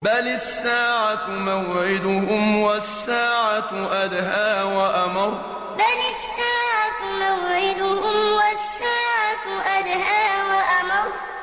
بَلِ السَّاعَةُ مَوْعِدُهُمْ وَالسَّاعَةُ أَدْهَىٰ وَأَمَرُّ بَلِ السَّاعَةُ مَوْعِدُهُمْ وَالسَّاعَةُ أَدْهَىٰ وَأَمَرُّ